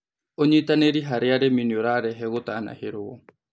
Ũnyĩtanĩrĩ harĩ arĩmĩ nĩũrarehe gũtanahĩrwo